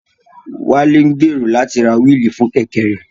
Wálé gbèrò láti ra wíìlì fún Kẹ̀kẹ́ rẹ̀